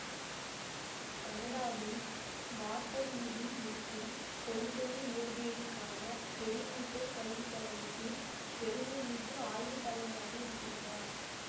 கனடாவில் வாட்டர்லூவில் இருக்கும் கொள்கைய இயற்பியலுக்கான பெரிமீட்டர் கல்விக்கழகத்தில் பெருமைமிகு ஆய்வுத்தலைவராக இருக்கின்றார்